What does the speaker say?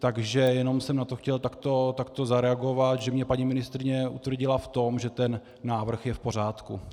Takže jenom jsem na to chtěl takto zareagovat, že mě paní ministryně utvrdila v tom, že ten návrh je v pořádku.